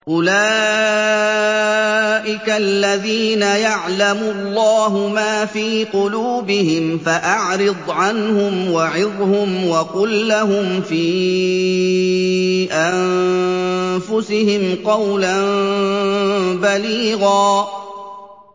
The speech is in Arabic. أُولَٰئِكَ الَّذِينَ يَعْلَمُ اللَّهُ مَا فِي قُلُوبِهِمْ فَأَعْرِضْ عَنْهُمْ وَعِظْهُمْ وَقُل لَّهُمْ فِي أَنفُسِهِمْ قَوْلًا بَلِيغًا